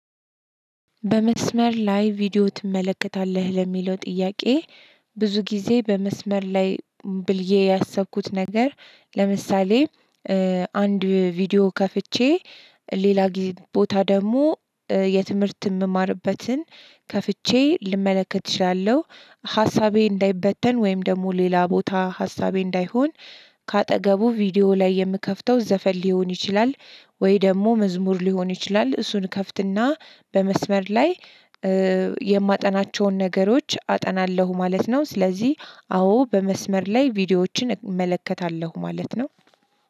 በመስመር ላይ ቪዲዮ ትመለከታለህ ለሚለው ጥያቄ? ብዙ ጊዜ በመስመር ላይ ብዬ ያሰብኩት ነገር ለምሳሌ አንድ ቪዲዮ ከፍቼ ሌላ ቦታ ደግሞ የትምህርት የምማርበትን ከፍቼ ልመለከት እችላለሁ። ሀሳቤ እንዳይበተን ወይም ደግሞ ሌላ ቦታ ሀሳቤ እንዳይሆን ከአጠገቡ ቪዲዮ ላይ የምከፍተው ዘፈን ሊሆን ይችላል። ወይ ደግሞ መዝሙር ሊሆን ይችላል እሱን እከፍትና በመስመር ላይ የማጠናቸውን ነገሮች አጠናለሁ ማለት ነው። ስለዚህ አዎ በመስመር ላይ ቪዲዮዎችን እመለከታለሁ ማለት ነው።